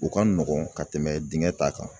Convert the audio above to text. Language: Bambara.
U ka nɔgɔn ka tɛmɛ dingɛ ta kan.